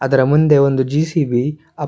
ಅದರ ಮುಂದೆ ಒಂದು ಜಿ.ಸಿ.ಬಿ ಅ--